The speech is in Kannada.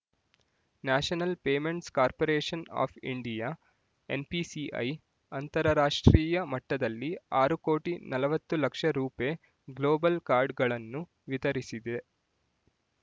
national payments corporation of India NPCI ಅಂತರರಾಷ್ಟ್ರೀಯ ಮಟ್ಟದಲ್ಲಿ ಆರು ಕೋಟಿ ನಲವತ್ತು ಲಕ್ಷ ರೂಪೆ ಗ್ಲೋಬಲ್ ಕಾರ್ಡ್‌ಗಳನ್ನು ವಿತರಿಸಿದೆ